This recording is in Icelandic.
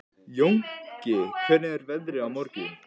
Jónki, hvernig er veðrið á morgun?